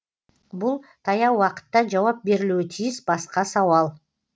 бұл таяу уақытта жауап берілуі тиіс басқа сауал